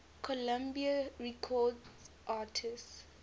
columbia records artists